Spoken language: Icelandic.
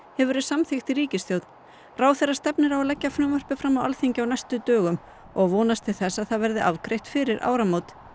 hefur verið samþykkt í ríkisstjórn ráðherra stefnir á að leggja frumvarpið fram á Alþingi á næstu dögum og vonast til að það verði afgreitt fyrir áramót